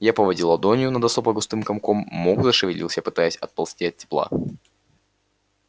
я поводил ладонью над особо густым комком мох зашевелился пытаясь отползти от тепла